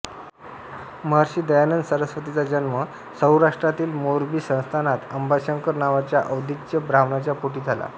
महर्षी दयानंद सरस्वतींचा जन्म सौराष्ट्रातील मोरबी संस्थानात अंबाशंकर नावाच्या औदिच्य ब्राह्मणाच्या पोटी झाला